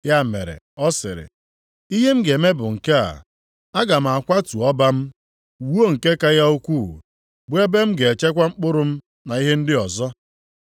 “Ya mere ọ sịrị, ‘Ihe m ga-eme bụ nke a, aga m akwatu ọba m, wuo nke ka ya ukwuu, bụ ebe m ga-echekwa mkpụrụ m na ihe ndị ọzọ.